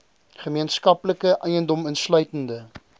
gemeenskaplike eiendom insluitende